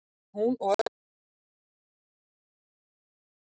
En hún og öll systkini hennar, fimm að tölu, höfðu komist af.